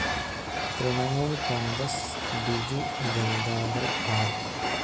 Trinamool Congress, Biju Janata Dal, R.